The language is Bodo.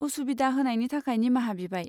उसुबिदा होनायनि थाखाय निमाहा बिबाय।